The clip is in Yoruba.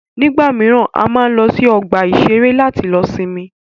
Nígbà míràn, a máa ń lọ sí ọgbà ìṣẹ̀rẹ́ láti lọ sinmi.